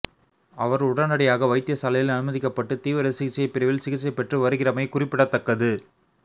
அவர் உடனடியாக வைத்தியசாலையில் அனுமதிக்கப்பட்டு தீவிர சிகிச்சைப்பிரிவில் சிகிச்சை பெற்று வருகிறமை குறிப்பிடத்தக்கது